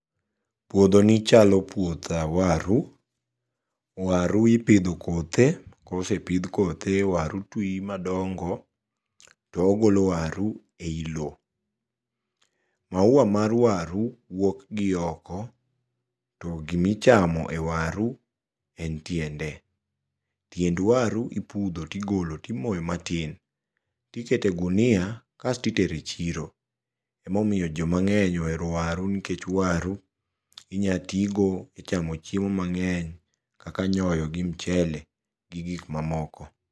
Puodhoni chalo puoth waru. Waru ipidho kothe, kosepidh kothe waru twi madongo to ogolo waru ei loo. Maua mar waru wuokgi oko to gimichamo e waru en tiende. Tiend waru ipudho tigolo timoyo matin tiketo e gunia kasto itero e chiro emomiyo jo mang'eny ohero waru nikech waru inyatigo e chamo chiemo mang'eny kaka nyoyo, gi mchele gi gikma moko.